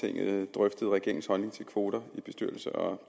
drøftet regeringens holdning til kvoter i bestyrelser og